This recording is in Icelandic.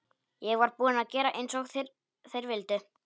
Ég var búin að gera eins og þeir vildu.